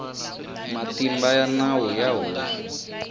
matimba ya nawu ya hosi